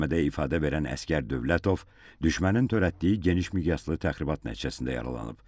Məhkəmədə ifadə verən əsgər Dövlətov düşmənin törətdiyi geniş miqyaslı təxribat nəticəsində yaralanıb.